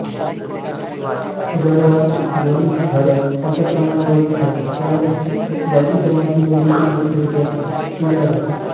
गडावर वन झाडं मोठ्या प्रमाणावरील आहेत त्यामुळे जातीजमाती निरोगी लोकसंख्या किल्यावर आहे